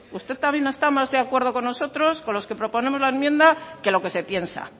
usted también está más de acuerdo con nosotros con los que proponemos la enmienda que lo que se piensa